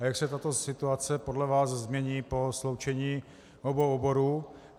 A jak se tato situace podle vás změní po sloučení obou oborů?